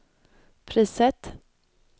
priset